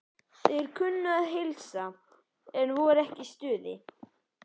Þeir kunnu að heilsa, en voru ekki í stuði.